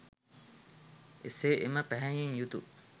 එසේ එම පැහැයෙන් යුතු